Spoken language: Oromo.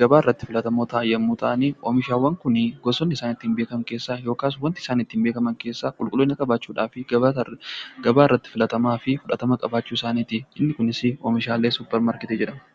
gabaa irratti filatamoo ta'anii, oomishaawwan Kun kan ittiin beekaman keessaa qulqulliina qabaachuu , gabaa irratti fudhatamaa fi jaalatamummaa qabaachuu isaaniitiin inni kunis oomisha suupermaarkeetii jedhamu.